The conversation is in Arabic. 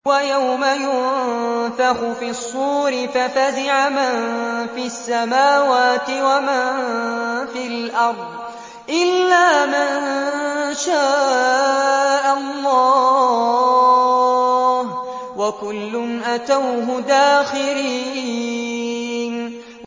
وَيَوْمَ يُنفَخُ فِي الصُّورِ فَفَزِعَ مَن فِي السَّمَاوَاتِ وَمَن فِي الْأَرْضِ إِلَّا مَن شَاءَ اللَّهُ ۚ وَكُلٌّ أَتَوْهُ دَاخِرِينَ